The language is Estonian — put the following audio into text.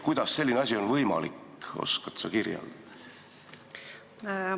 Kuidas on selline asi võimalik, oskad sa kirjeldada?